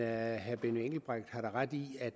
herre benny engelbrecht har da ret i